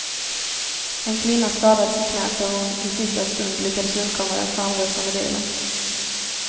En kvinna skadades i knäet då hon i sista stund lyckades undkomma den framrusande bilen.